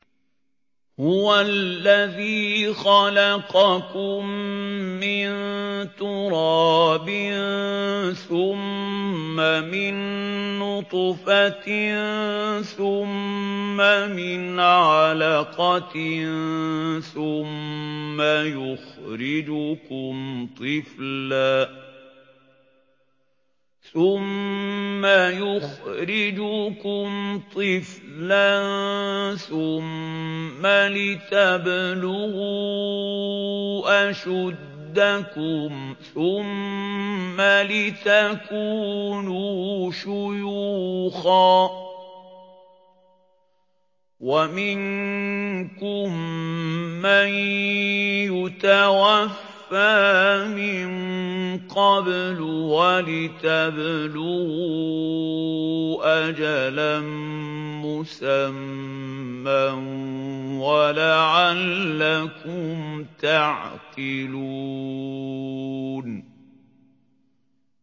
هُوَ الَّذِي خَلَقَكُم مِّن تُرَابٍ ثُمَّ مِن نُّطْفَةٍ ثُمَّ مِنْ عَلَقَةٍ ثُمَّ يُخْرِجُكُمْ طِفْلًا ثُمَّ لِتَبْلُغُوا أَشُدَّكُمْ ثُمَّ لِتَكُونُوا شُيُوخًا ۚ وَمِنكُم مَّن يُتَوَفَّىٰ مِن قَبْلُ ۖ وَلِتَبْلُغُوا أَجَلًا مُّسَمًّى وَلَعَلَّكُمْ تَعْقِلُونَ